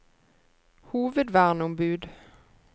hovedverneombud